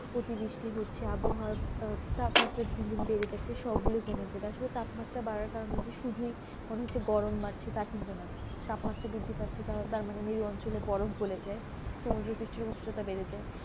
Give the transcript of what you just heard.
কটি বৃষ্টি হচ্ছে আবহাওয়া তাপমাত্রা দিনদিন বেড়েযাচ্ছে সব গুলো কমেছে আসলে তাপমাত্রা বাড়ার কারণ হচ্ছে শুধু গরম বাড়ছে তাপমাত্রা বৃদ্ধি পারছে উচ্চতা বেড়ে যায়